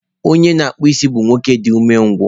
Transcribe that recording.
Onye na-akpụ isi bụ nwoke dị umengwụ